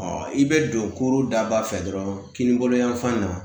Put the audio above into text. i be don da ba fɛ dɔrɔn kini bolo yan fan na